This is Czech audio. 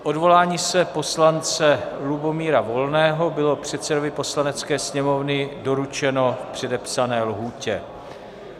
Odvolání se poslance Lubomíra Volného bylo předsedovi Poslanecké sněmovny doručeno v předepsané lhůtě.